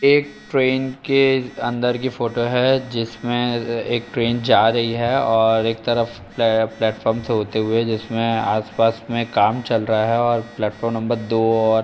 train के अंदर की फ़ोटो है जिसमें ए-एक ट्रेन जा रही है और एक तरफ प्ले प्लेटफार्म से होते हुए जिसमें आसपास में काम चल रहा है और प्लेटफार्म नंबर दो और --